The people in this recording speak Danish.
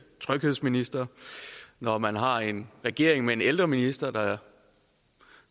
tryghedsminister og når man har en regering med en ældreminister der